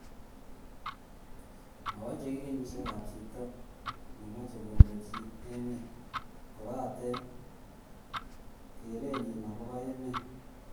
Mawecheki kenyisiekab chito ne machei kondochi emet kobate keretnyi agobo emet